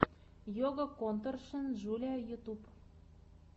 йога конторшен джулиа ютюб